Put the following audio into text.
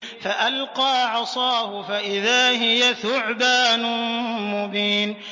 فَأَلْقَىٰ عَصَاهُ فَإِذَا هِيَ ثُعْبَانٌ مُّبِينٌ